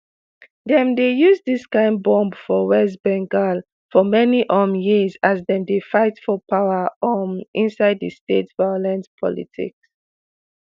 dem dey use dis kain bomb for west bengal for many um years as dem dey fight for power um inside di state violent politics